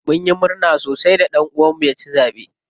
Munyi murna sosi da ɗan uwan mu ya ci zaɓe.